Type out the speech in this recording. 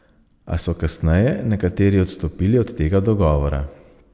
A so kasneje nekateri odstopili od tega dogovora.